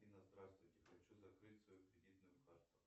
афина здравствуйте хочу закрыть свою кредитнуюкарту